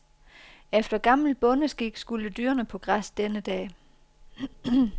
Efter gammel bondeskik skulle dyrene på græs denne dag.